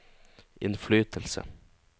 innflytelse